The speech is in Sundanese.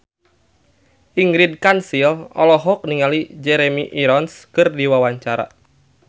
Ingrid Kansil olohok ningali Jeremy Irons keur diwawancara